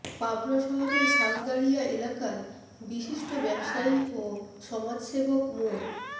পাবনা শহরের শালগাড়িয়া এলাকার বিশিষ্ট ব্যবসায়ী ও সমাজসেবক মো